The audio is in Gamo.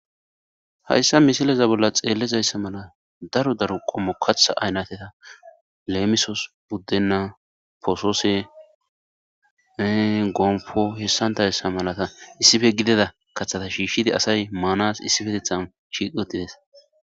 hayssa mishileza bolla xeellezayssa mala daro daro qommo katha aynateta leemisos buddennaa poosoose gomfo hessantayssa malata issife gideda kaththata shiishshidi asay maanas issife tethan shiq wottides